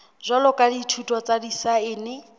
jwalo ka dithuto tsa disaense